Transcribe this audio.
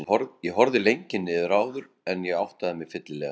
Ég horfði lengi niður áður en ég áttaði mig fyllilega.